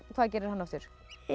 hvað gerir hann aftur